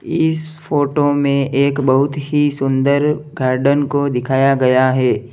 इस फोटो में एक बहुत ही सुंदर गॉर्डन को दिखाया गया है।